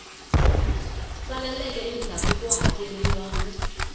saleleke endzhaku ko hakeleriwa wu